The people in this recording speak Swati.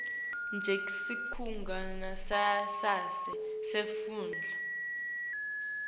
njengesikhungo sangasese semfundvo